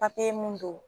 papiye mun don